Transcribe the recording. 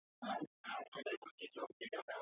হ্যাঁ হ্যাঁ সেটাই বলছি তো যেটা ব্যাব~